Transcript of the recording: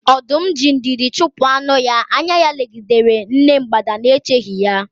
Ọdum ji ndidi chupu anu-ya, anya-ya legidere nne mgbada nēcheghi ya.